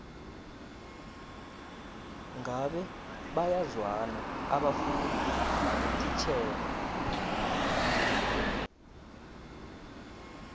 ngabe bayazwana abafundi nabotitjhere